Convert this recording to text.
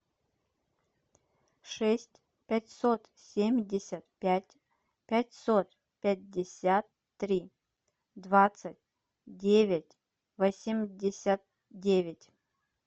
шесть пятьсот семьдесят пять пятьсот пятьдесят три двадцать девять восемьдесят девять